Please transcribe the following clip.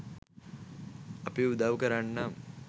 අපි උදව් කරන්නම්